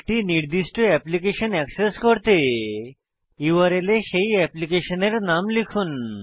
একটি নির্দিষ্ট application access করতে ইউআরএল এ সেই অ্যাপ্লিকেশনের নাম লিখুন